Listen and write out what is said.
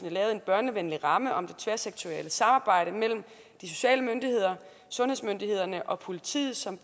lavet en børnevenlig ramme om det tværsektorielle samarbejde mellem de sociale myndigheder sundhedsmyndighederne og politiet som